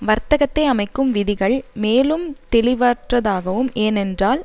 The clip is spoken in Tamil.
வர்த்தகத்தை அமைக்கும் விதிகள் மேலும் தெளிவற்றதாகவும் ஏனென்றால்